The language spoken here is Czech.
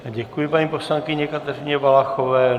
Děkuji paní poslankyni Kateřině Valachové.